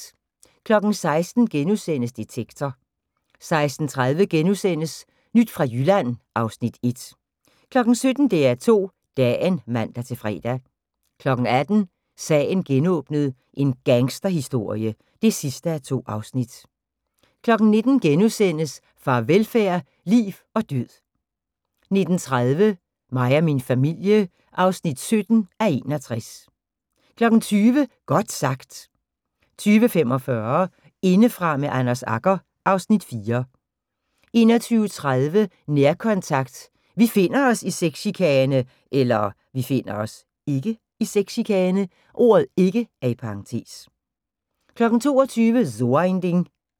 16:00: Detektor * 16:30: Nyt fra Jylland (Afs. 1)* 17:00: DR2 Dagen (man-fre) 18:00: Sagen genåbnet: En gangsterhistorie (2:2) 19:00: Farvelfærd: Liv og Død * 19:30: Mig og min familie (17:61) 20:00: Godt sagt 20:45: Indefra med Anders Agger (Afs. 4) 21:30: Nærkontakt – Vi finder os (ikke) i sexchikane 22:00: So ein Ding